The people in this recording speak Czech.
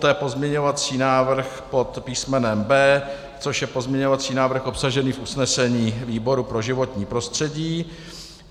Poté pozměňovací návrh pod písmenem B, což je pozměňovací návrh obsažený v usnesení výboru pro životní prostředí.